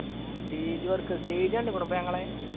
ആ stage work stage കണ്ടിക്കോ ഇപ്പൊ ഞങ്ങളെ?